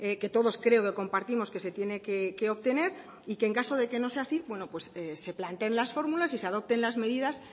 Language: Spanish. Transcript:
que todos creo que compartimos que se tiene que obtener y que en caso de que no sea así se planteen las fórmulas y se adopten las medidas